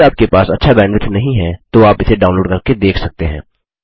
यदि आपके पास अच्छा बैंडविड्थ नहीं है तो आप इसे डाउनलोड करके देख सकते हैं